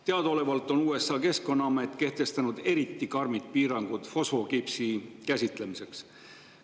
Teadaolevalt on USA keskkonnaamet kehtestanud eriti karmid piirangud fosfokipsi käsitlemiseks.